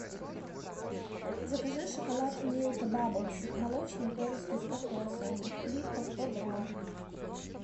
закажи шоколад милка баблс молочный пористый с кокосом плитка сто грамм